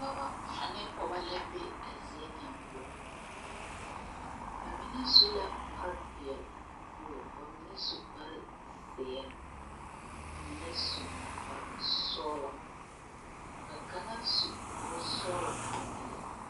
Dɔbɔ ane pɔgeba la be a zie ŋa poɔ ba mine su la kparre peɛle nuwogri ka mine su kparre zeere ka mine su kparre sɔglɔ ka kaŋa su kpare sɔglɔ ane peɛle.